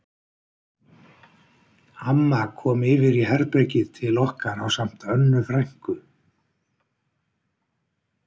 Amma kom yfir í herbergið til okkar ásamt Önnu frænku